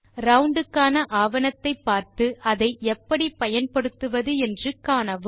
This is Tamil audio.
ரவுண்ட் க்கான ஆவணத்தை பார்த்து அதை எப்படி பயன்படுத்துவது என்று காணவும்